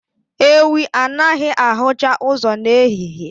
Ewii anaghị ahụcha ụzọ n'ehihie